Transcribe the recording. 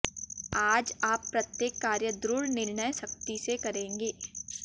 आज आप प्रत्येक कार्य दृढ़ निर्णय शक्ति से करेंगे